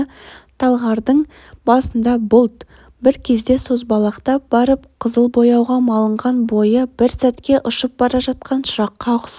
талғардың басындағы бұлт бір кезде созбалақтап барып қызыл бояуға малынған бойы бір сәтке ұшып бара жатқан шыраққа ұқсап